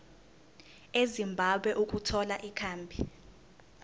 ezimbabwe ukuthola ikhambi